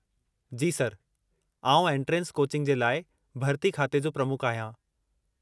जी sir, आउं entrance coaching जे लाइ भर्ती खाते जो प्रमुख आहियां।